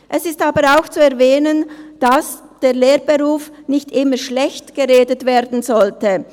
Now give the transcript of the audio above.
Es ist aber auch zu erwähnen, dass der Lehrberuf nicht immer schlecht geredet werden sollte.